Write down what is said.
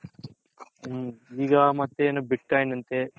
ಈಗ ಮತ್ತೆ ಏನು bit coin ಅಂತೆ